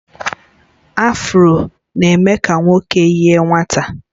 Afro na-eme ka nwoke yie nwata